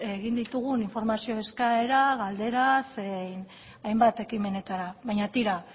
egin ditugun informazio eskaera galdera zein hainbat ekimenetara baina tira